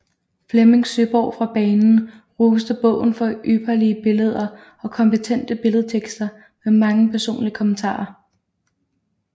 Flemming Søeborg fra Banen roste bogen for ypperlige billeder og kompetente billedtekster med mange personlige kommentarer